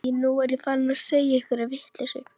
Æi, nú er ég farin að segja einhverja vitleysu.